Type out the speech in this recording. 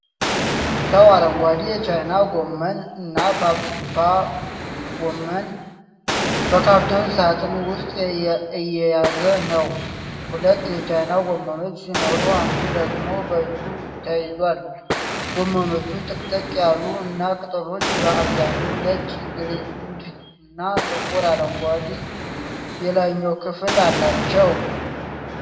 ሰው አረንጓዴ የቻይና ጎመን (ናፓ ጎመን) በካርቶን ሣጥን ውስጥ እየያዘ ነው። ሁለት የቻይና ጎመኖች ሲኖሩ፣ አንዱ ደግሞ በእጁ ተይዟል። ጎመኖቹ ጥቅጥቅ ያሉ እና ቅጠሎቹ በአብዛኛው ነጭ ግንድ እና ጥቁር አረንጓዴ የላይኛው ክፍል አላቸው።